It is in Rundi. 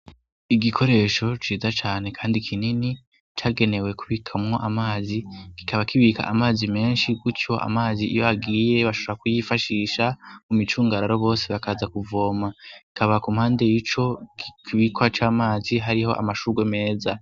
igikoresho ciza cane kandi kinini cagenewe kubikamwo amazi kikaba kibika amazi menshi gutyo amazi iyo agiye bashara kuyifashisha mu micungararo bose bakaza kuvoma kikaba kumpande y'ico kibikwa c'amazi hariho amashugwe meza